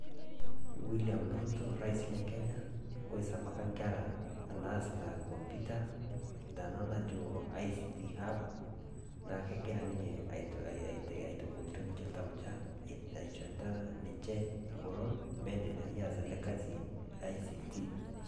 william ruto orais le kenya oisabaka nkera naasita kompiuta tena najo ICT hub nakegira ninye aishorita ngolon mee iendelea aas ele kasi le ICT